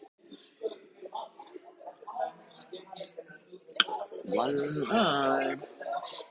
Ragnhildur sagði honum það: Steindór og Óskar.